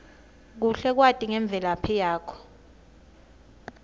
kuhle kwati ngemvelaphi yakho